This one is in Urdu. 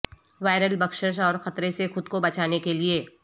وائرل بخشش اور خطرے سے خود کو بچانے کے